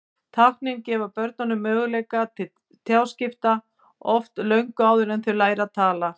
Táknin gefa börnunum möguleika til tjáskipta, oft löngu áður en þau læra að tala.